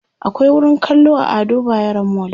akwai wurin kallo a Ado bayero mall